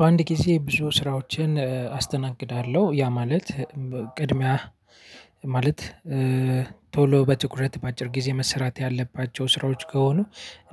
በአንድ ጊዜ ብዙ ስራዎችን አስተናግዳለሁ ያ ማለት ቅድሚያ ማለት ቶሎ በትኩረት በአጭር ጊዜ መሰራት ያለባቸው ስራዎች ከሆኑ